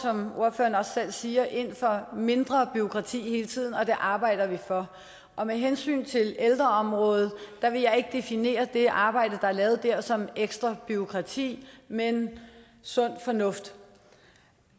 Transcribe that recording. som ordføreren også selv siger ind for mindre bureaukrati hele tiden og det arbejder vi for med hensyn til ældreområdet vil jeg ikke definere det arbejde der er lavet der som ekstra bureaukrati men sund fornuft